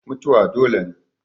Mutuwa dole ne.